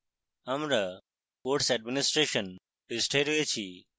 আমরা course administration পৃষ্ঠায় রয়েছি